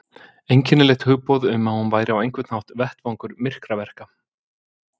Einkennilegt hugboð um að hún væri á einhvern hátt vettvangur myrkraverka.